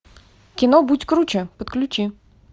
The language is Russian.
кино будь круче подключи